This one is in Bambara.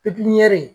Pipiniyɛri